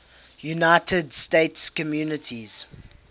united states communities